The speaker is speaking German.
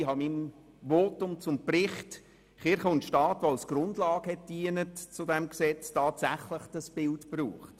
Ich habe in meinem Votum zum Bericht «Kirche und Staat» tatsächlich dieses Bild verwendet.